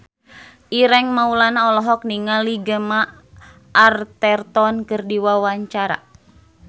Ireng Maulana olohok ningali Gemma Arterton keur diwawancara